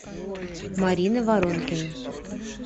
марина воронкина